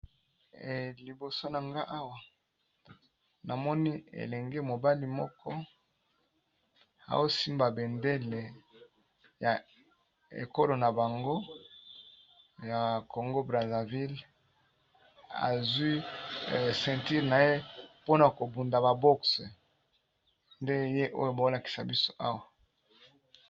Liboso na nga awa namoni elenge mobali moko aosimba bendele ya ekolo na bango ya Congo Brazzaville azwi ceinture na ye mpona ko bunda ba boxe nde ye oyo balakisa biso awa.